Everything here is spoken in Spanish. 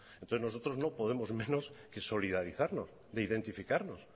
entonces nosotros no podemos menos que solidarizarnos de identificarnos